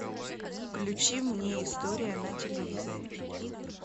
включи мне история на телевизоре